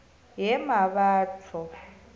yemmabatho